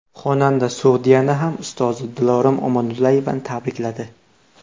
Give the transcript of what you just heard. Xonanda Sogdiana ham ustozi Dilorom Omonullayevani tabrikladi.